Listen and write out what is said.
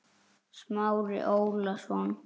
Smári Ólason.